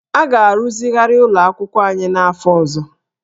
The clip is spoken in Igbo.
A ga-arụzigharị ụlọ akwụkwọ anyị n'afọ ọzọ